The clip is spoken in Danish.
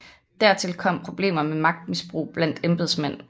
Dertil kom problemer med magtmisbrug blandt embedsmænd